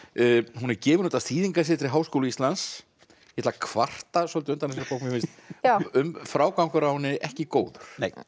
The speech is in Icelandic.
hún er gefin út af Háskóla Íslands ég ætla að kvarta svolítið undan þessari bók mér finnst frágangur á henni ekki góður